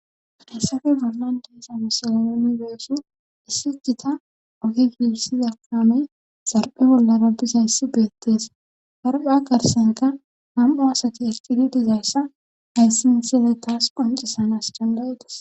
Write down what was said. Hassafe bollan diesa misoleoni beyesu issi gita ohi gibsizakame zarphe bollarabbizayssi beettees harpha karsenka ham7u asati erqidi dizayssa hayssi miseley taas qoncisanas jangayedas